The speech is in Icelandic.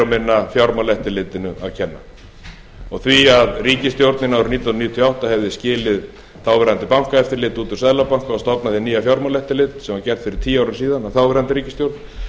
minna fjármálaeftirlitinu að kenna og því að ríkisstjórnin árið nítján hundruð níutíu og átta hefði skilið þáverandi bankaeftirlit út úr seðlabankanum og stofnað hið nýja fjármálaeftirlit sem var gert fyrir tíu árum síðan af þáverandi ríkisstjórn